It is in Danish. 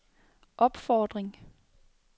opfordring